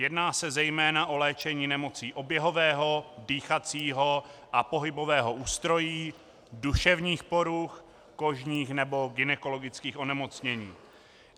Jedná se zejména o léčení nemocí oběhového, dýchacího a pohybového ústrojí, duševních poruch, kožních nebo gynekologických onemocnění.